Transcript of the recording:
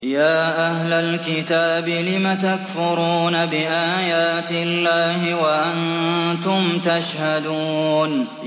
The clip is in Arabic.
يَا أَهْلَ الْكِتَابِ لِمَ تَكْفُرُونَ بِآيَاتِ اللَّهِ وَأَنتُمْ تَشْهَدُونَ